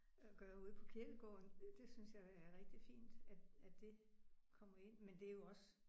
Øh gør ude på kirkegården det synes jeg er rigtig fint at at det kommer ind men det er jo også